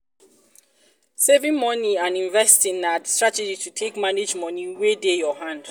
saving money and investing na um strategy to take manage money wey dey our hand